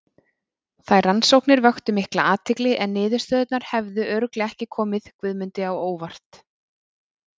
Þær rannsóknir vöktu mikla athygli en niðurstöðurnar hefðu örugglega ekki komið Guðmundi á óvart.